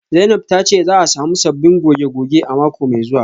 Zainab tace za'a samu sabbin goge-goge a mako mai zuwa